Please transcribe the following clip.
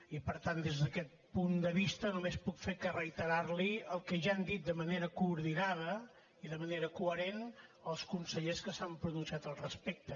i per tant des d’aquest punt de vista només puc fer que reiterar li el que ja han dit de manera coordinada i de manera coherent els consellers que s’han pronunciat al respecte